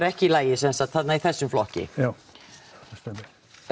ekki í lagi í þessum flokki já það stemmir